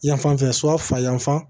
Yan fan fɛ so fa yanfan